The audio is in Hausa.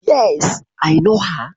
Yes I know her.